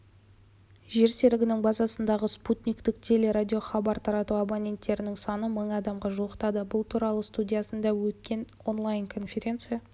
жер серігінің базасындағы спутниктік телерадиохабар тарату абоненттерінің саны мың адамға жуықтады бұл туралы студиясында өткен онлайн-конференция